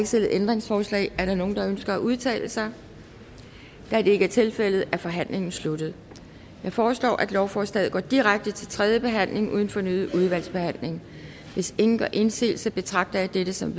stillet ændringsforslag er der nogen der ønsker at udtale sig da det ikke er tilfældet er forhandlingen sluttet jeg foreslår at lovforslaget går direkte til tredje behandling uden fornyet udvalgsbehandling hvis ingen gør indsigelse betragter jeg dette som